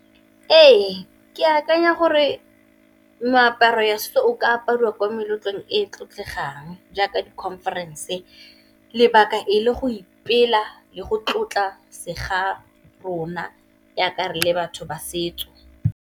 Ee, ke akanya gore meaparo ya setso o ka apariwa ko meletlong e e tlotlegang jaaka di conference, lebaka e le go ipela le go tlotla se ga rona jaaka re le batho ba setso.